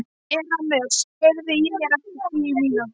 Erasmus, heyrðu í mér eftir tíu mínútur.